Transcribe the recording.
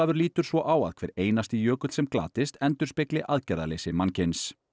lítur svo á að hver einasti jökull sem glatist endurspegli aðgerðaleysi mannkyns